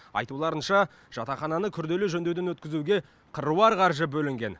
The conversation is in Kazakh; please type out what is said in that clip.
айтуларынша жатақхананы күрделі жөндеуден өткізуге қыруар қаржы бөлінген